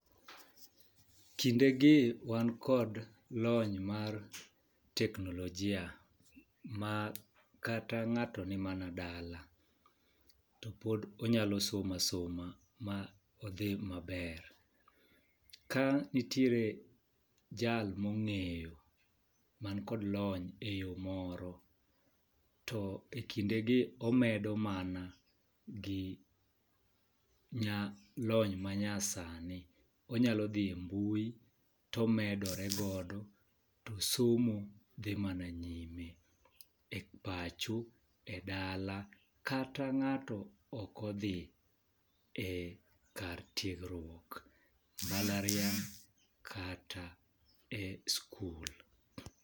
Kinde gi wan kod lony mar teknolojia ma kata ng'ato ni mana dala to pod onyalo somo asoma ma odhii maber. Ka nitie jal mong'eyo man kod lony e yoo moro to ekindegi omedo mana gi nyaa lony manyasani, onyalo dhie mbui to omedore godo to somo dhii mananyime e pacho, e dala kata ng'ato ok odhii e kar tiegruok mblarianya kata e skul.